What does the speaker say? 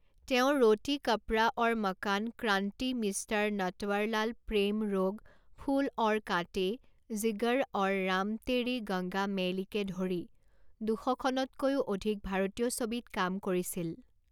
তেওঁ ৰ'তি কাপড়া ঔৰ মকান ক্ৰান্তি মিষ্টাৰ নটৱাৰলাল প্ৰেম ৰোগ ফুল ঔৰ কাঁতে জিগৰ আৰু ৰাম তেৰি গংগা মেইলিকে ধৰি দুশখনতকৈও অধিক ভাৰতীয় ছবিত কাম কৰিছিল।